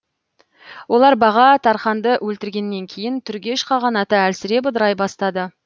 олар баға тарханды өлтірілгеннен кейін түргеш қағанаты әлсіреп ыдырай бастады